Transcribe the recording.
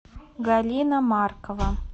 галина маркова